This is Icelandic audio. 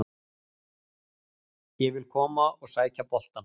Ég vil koma og sækja boltann.